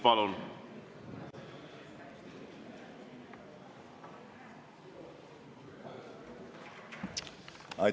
Palun!